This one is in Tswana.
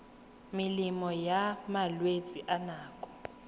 melemo ya malwetse a nako